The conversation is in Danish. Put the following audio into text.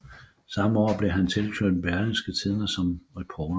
Samme år blev han tilknyttet Berlingske Tidende som reporter